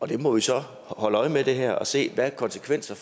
vi må så holde øje med det her og se hvilke konsekvenser